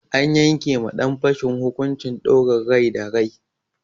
An yanke ma ɗan fashin hukuncin ɗaurin rai da rai.